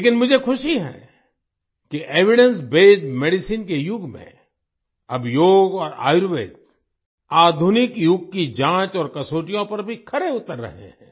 लेकिन मुझे ख़ुशी है कि एविडेंस बेस्ड मेडिसिन के युग में अब योग और आयुर्वेद आधुनिक युग की जाँच और कसौटियों पर भी खरे उतर रहे हैं